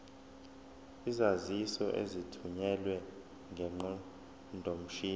izaziso ezithunyelwe ngeqondomshini